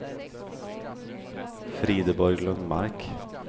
Frideborg Lundmark